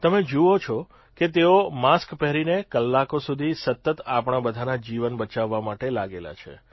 તમે જુઓ છો કે તેઓ માસ્ક પહેરીને કલાકો સુધી સતત આપણા બધાના જીવન બચાવવા માટે લાગેલા છે